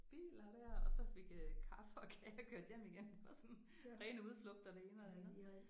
Biler der og så fik øh kaffe og kage og kørte hjem igen det var sådan ren udflugt og det ene og det andet